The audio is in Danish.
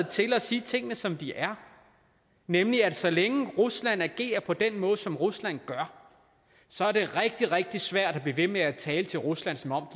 til at sige tingene som de er nemlig at så længe rusland agerer på den måde som rusland gør så er det rigtig rigtig svært at blive ved med at tale til rusland som om